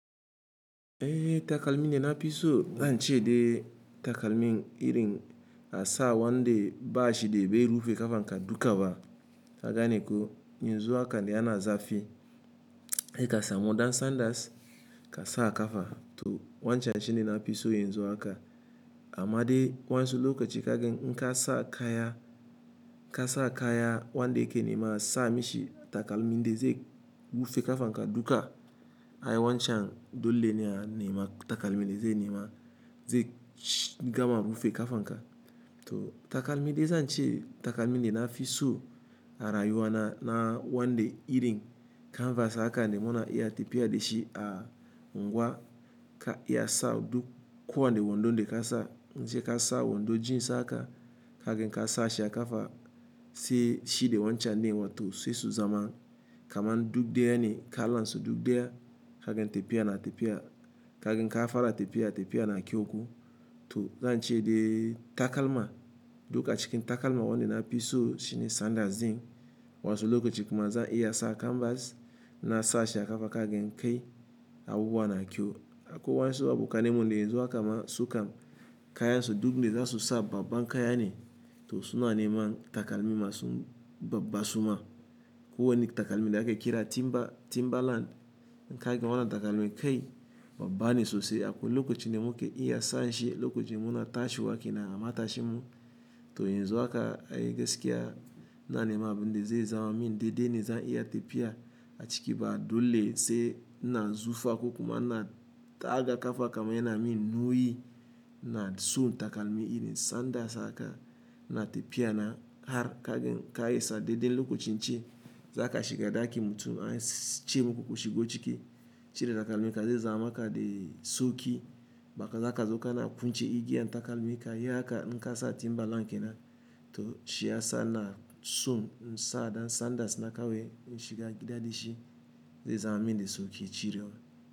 Eh takalmin de na fi iso, zan ce de takalmin irin a sa wande bashi de be rufe kafan ka duka ba. Ka gane ko yinzu haka da ana zafi. E kasa modern sandals ka sa a kafa to wancan shi ne na fii so yanzu haka amma de wa'ansu lokaci in kasa kaya, wanda ya ke nema sa mishi takalmin da ze rufe kafan ka duka. Ai wancan dole ne a nema takalmin da ze nema ze gama rufe kafan ka. To takalmi de zan ce takalmin da na fiso a rayuwa na na wanda irin canvas aka ne muna iya tafiya da shi a unguwa ka iya sa duk kowanne wondon da ka sa ace ka sa wondo jeans haka kaga ka sa shi a kafa se shi da wancan ne ma to se su zama kaman duk ɗaya ne kalan su du ɗaya kaga tafiya na tafiya kaga ka fara tafiya, tafiya na kyau ko to zan ce de takalma duk a cikin takalma wanda na fiso shi ne sandals zen wato lokaci kuma za iya sa canvas na sa shi a kafa kagen kai abubuwa na kyau. Akwai wasu abokananmu de yan zu haka ma su kam kaya so duk de za su sa babban kaya ne to suna nema takalmi masu babban suna. Akwai wani takalmi de ake kira Timberland inka ga wannan takalmin kai babban sosai akwai lokacin da mukan iya sa shi lokocin muna tashi wake nan a matashin mu. To yanzu haka ai gaskiya na nema abunde ze zama min dede ne zan iya tafiya a ciki ba dole se ina zufa ku kuma na taka kafa kamar yana min nauyi na sun takalmi irin sandals haka na tafiya na har kagen ka iya sa dede lokacin ce za ka shiga ɗakin mutum ai suce muku ku shigo ciki cire takalmi ka ze zama ka de sauki baka za ka zo kana kunce igiya na takalmi ka yi aka inka sa Timberland kenan to shi ya sa ina so insa sandals na kawai in shiga gida dq shi ze zame min da sauki cirewa.